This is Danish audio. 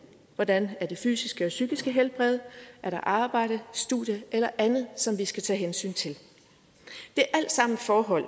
hvordan det fysiske og psykiske helbred er arbejde studie eller andet som vi skal tage hensyn til det er alt sammen forhold